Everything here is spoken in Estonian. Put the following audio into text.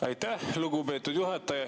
Aitäh, lugupeetud juhataja!